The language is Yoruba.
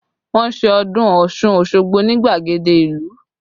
Wọn ṣe ọdún Ọ̀ṣun Osogbo ni gbagede ìlú